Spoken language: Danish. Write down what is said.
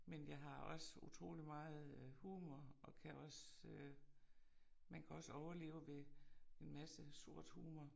Men jeg har også utrolig meget øh humor og kan også øh man kan også overleve ved en masse sort humor